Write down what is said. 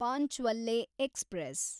ಪಾಂಚ್ವಲ್ಲೆ express